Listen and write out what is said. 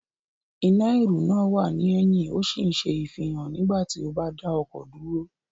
Iná ìrù náà wà ní ẹ̀yìn ó sì ń ṣe ìfihàn nígbà tí o bá dá ọkọ̀ dúró